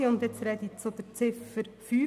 Ich spreche nun zu Ziffer 5.